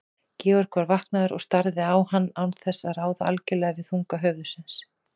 Georg var vaknaður og starði á hann án þess að ráða algjörlega við þunga höfuðsins.